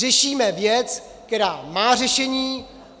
Řešíme věc, která má řešení.